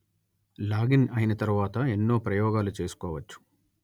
login అయిన తరువాత ఎన్నో ప్రయోగాలు చేసుకోవచ్చు